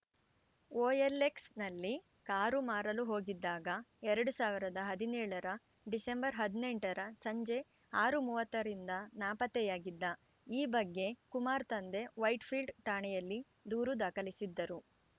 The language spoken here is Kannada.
ಒಎಲ್‌ಎಕ್ಸ್‌ನಲ್ಲಿ ಕಾರು ಮಾರಲು ಹೋಗಿದ್ದಾಗ ಎರಡ್ ಸಾವಿರದ ಹದಿನೇಳರ ಡಿಸೆಂಬರ್ ಹದಿನೆಂಟರ ಸಂಜೆ ಆರು ಮೂವತ್ತ ರಿಂದ ನಾಪತ್ತೆಯಾಗಿದ್ದ ಈ ಬಗ್ಗೆ ಕುಮಾರ್‌ ತಂದೆ ವೈಟ್‌ಫೀಲ್ಡ್‌ ಠಾಣೆಯಲ್ಲಿ ದೂರು ದಾಖಲಿಸಿದ್ದರು